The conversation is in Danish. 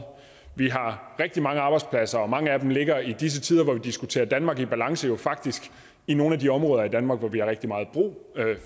vi har rigtig mange arbejdspladser og mange af dem ligger i disse tider hvor vi diskuterer danmark i balance faktisk i nogle af de områder af danmark hvor vi har rigtig meget brug